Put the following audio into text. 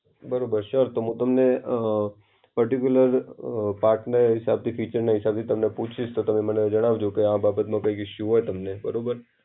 બરોબર. સર, તો હું તમને અ પર્ટિક્યુલર અ પાર્ટના હિસાબથી, ફીચરના હિસાબથી તમને પૂછીશ, તો તમે મને જણાવજો કે આ બાબતમાં કોઈ ઇશુ હોય તમને. બરોબર.